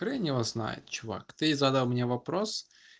хрен его знает чувак ты задал меня вопрос